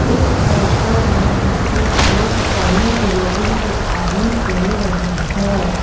इस फोटो में मुझे एक बड़ी बिल्डिंग दिखाई दे रही है।